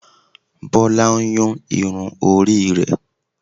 bola n Yún irún ori re